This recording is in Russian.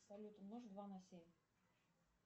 салют умножь два на семь